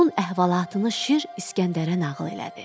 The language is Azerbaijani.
Bunun əhvalatını şir İsgəndərə nağıl elədi.